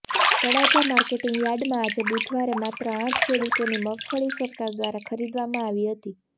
Talaja marketing યાર્ડમાં આજે બુધવારે માત્ર આઠ ખેડૂતોની મગફળી સરકાર દ્વારા ખરીદવામાં આવી હતી